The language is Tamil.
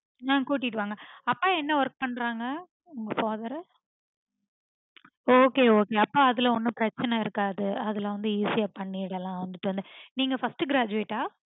ஆஹ் கூட்டிட்டு வாங்க அப்பா என்ன work பண்றங்க? உங்க father okay okay அப்போ அதுல ஒன்னும் பிரச்சனை இருக்காது அதுல வந்து easy ஆ பண்ணிடலாம் உங்களுக்கு வந்து நீங்க first graduate ஆ